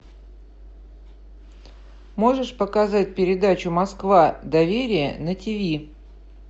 можешь показать передачу москва доверие на ти ви